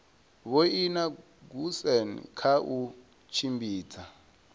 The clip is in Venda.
vhoina goosen kha u tshimbidza